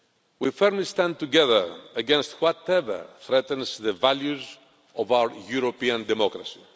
We firmly stand together against whatever threatens the values of our European democracy.